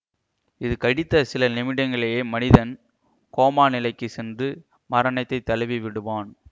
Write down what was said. இது கடித்த சில நிமிடங்கலேயே மனிதன் கோமா நிலைக்கு சென்று மரணத்தை தழுவிவிடுவான்